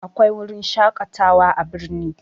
Akwai wurin shaƙatawa a birni